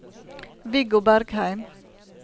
Viggo Bergheim